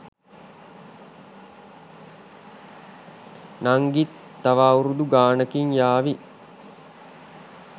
නංගිත් තව අවුරුදු ගානකින් යාවි